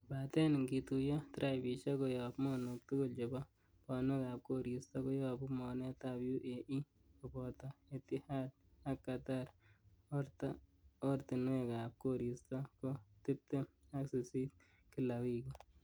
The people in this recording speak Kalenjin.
Kobaten ingituyo, tripisiek koyob mornok tugul chebo bonwekab koristo koyobu mornetab UAE, koboto Etihad ak Qatar oratinwekab goristo ko tibtem ak sisit kila wikit.